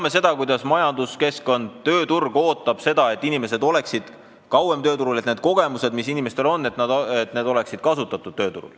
Me teame, kuidas majanduskeskkond ja tööturg ootavad, et inimesed oleksid kauem tööturul, et need kogemused, mis inimestel on, saaksid kasutatud.